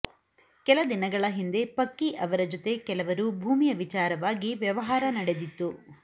ಕೆಲ ದಿನಗಳ ಹಿಂದೆ ಪಕ್ಕಿ ಅವರ ಜೊತೆ ಕೆಲವರು ಭೂಮಿಯ ವಿಚಾರವಾಗಿ ವ್ಯವಹಾರ ನಡೆದಿತ್ತು